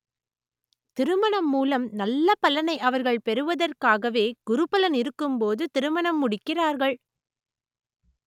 திருமணம் மூலம் நல்ல பலனை அவர்கள் பெறுவதற்காகவே குரு பலன் இருக்கும் போது திருமணம் முடிக்கிறார்கள்